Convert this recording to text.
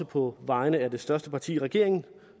på vegne af det største parti i regeringen